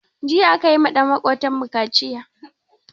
Jiya akayiwa ɗan makotan mu kaciya